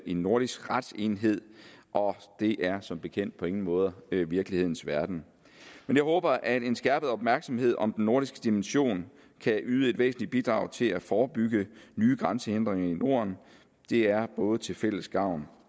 en nordisk retsenhed og det er som bekendt på ingen måde virkelighedens verden men jeg håber at en skærpet opmærksomhed om den nordiske dimension kan yde et væsentligt bidrag til at forebygge nye grænsehindringer i norden det er både til fælles gavn